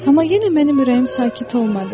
Amma yenə mənim ürəyim sakit olmadı.